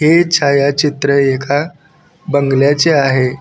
हे छायाचित्र एका बंगल्याचे आहे.